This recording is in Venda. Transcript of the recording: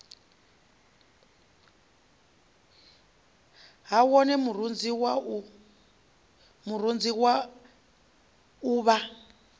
ha wone murunzi wa uvha